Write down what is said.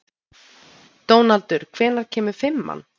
Dónaldur, hvenær kemur fimman?